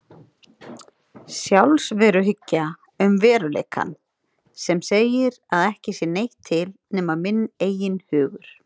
Sjálfsveruhyggja um veruleikann sem segir að ekki sé neitt til nema minn eigin hugur.